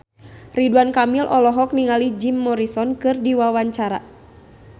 Ridwan Kamil olohok ningali Jim Morrison keur diwawancara